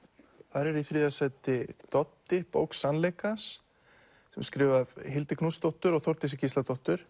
þar er í þriðja sæti Doddi bók sannleikans skrifuð af Hildi Knútsdóttur og Þórdísi Gísladóttur